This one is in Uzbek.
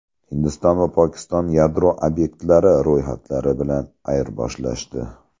Hindiston va Pokiston yadro obyektlari ro‘yxatlari bilan ayirboshlashdi.